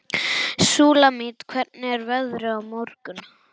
Súlamít, hvernig er veðrið á morgun?